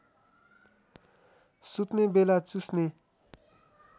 सुत्ने बेला चुस्ने